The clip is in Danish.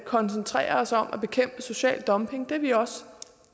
koncentrere os om at bekæmpe social dumping og det er vi også